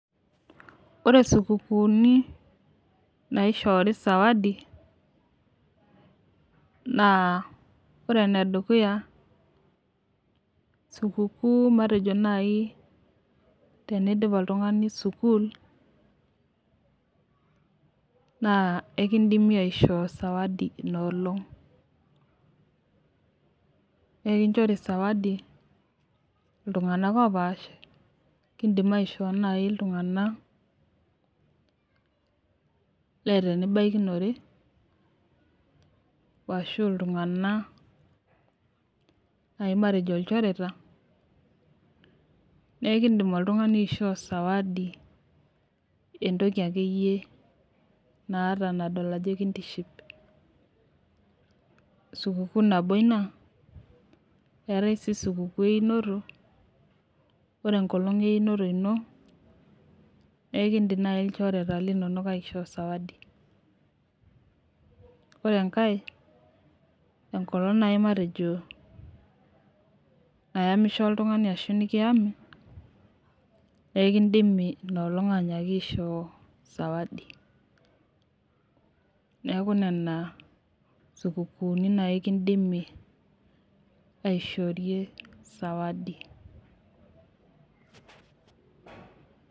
Ore sukukuni naishoori sawadi. ore ene dukuya, sukukuu matejo naaji, teneidipi oltungani sukuul naa ekeidimi aishoo sawadinina olong. ekinchori sawadi iltunganak opaasha. ekidim aishoo sawadi naaji iltunganak, leeta enibaikinore. ashu iltunganak naji matejo ilchoreta. naa ekeidim oltungani aishoo sawadi. entoki akeyie naata nadol ajo kitiship. sukuukuu einoto. ore enkolong' eunoto ino, naa ekeidim naaji ilchoreta linonok aishoo sawadi. ore enkae, enkolong' naaji matejo nayamisho oltungani ashu matejo naaji nikiyami. ekidimi inoolong anyaaki aishoo sawadi. nreku Nena sukukuni naaji kidimi aishorie sawadi.